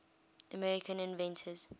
american inventors